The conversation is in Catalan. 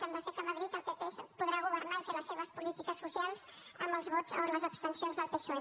sembla que a madrid el pp podrà governar i fer les seves polítiques socials amb els vots o les abstencions del psoe